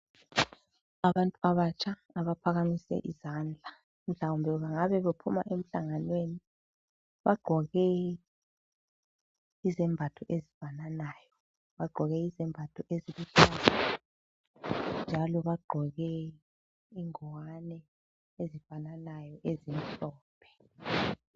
Abantu abatsha abaphakamise izandla, mhlawumbe bengaba bephuma emhlanganweni, bagqoke izembatho ezifananayo, bagqoke izembatho eziluhlaza njalo bagqoke ingwane ezifananayo ezimhlophe.